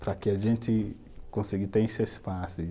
Para que a gente consiga ter esse espaço.